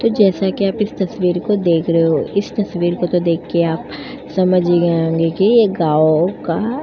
तो जैसा कि आप इस तस्वीर को देख रहे हो इस तस्वीर को तो देख के आप समझ ही गए होंगे कि एक गांव का --